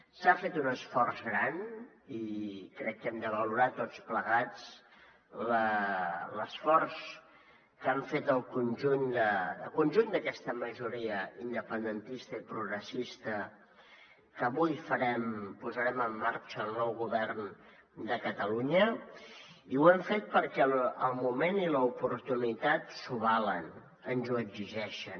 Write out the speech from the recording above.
s’ha fet un esforç gran i crec que hem de valorar tots plegats l’esforç que han fet el conjunt d’aquesta majoria independentista i progressista que avui farem posarem en marxa el nou govern de catalunya i ho hem fet perquè el moment i l’oportunitat s’ho valen ens ho exigeixen